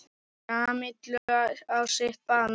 Kamillu á sitt band.